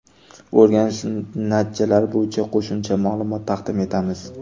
O‘rganish natijalari bo‘yicha qo‘shimcha ma’lumot taqdim etamiz.